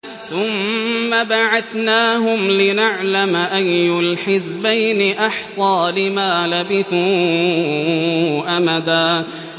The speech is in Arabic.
ثُمَّ بَعَثْنَاهُمْ لِنَعْلَمَ أَيُّ الْحِزْبَيْنِ أَحْصَىٰ لِمَا لَبِثُوا أَمَدًا